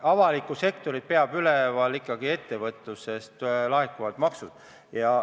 Avalikku sektorit peab üleval ettevõtlus, sealt laekuvad maksud.